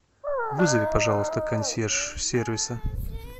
вызови пожалуйста консьерж сервиса